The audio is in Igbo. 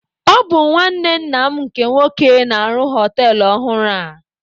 Ọ bụ nwanne nna m nke nwoke na-arụ họtelụ ọhụrụ a.